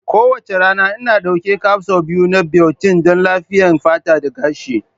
Kowace rana, Ina ɗaukar capsule biyu na biotin don lafiyayyen fata da gashi.